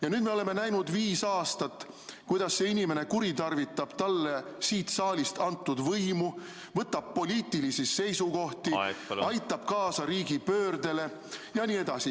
Ja nüüd me oleme viis aastat näinud, kuidas see inimene kuritarvitab talle siit saalist antud võimu, võtab poliitilisi seisukohti, aitab kaasa riigipöördele jne.